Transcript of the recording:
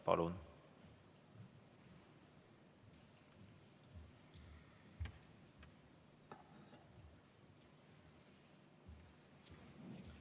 Palun!